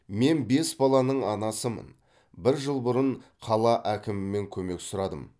мен бес баланың анасымын бір жыл бұрын қала әкімімен көмек сұрадым